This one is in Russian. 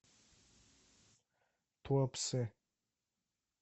туапсе